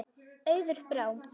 Auður Brá.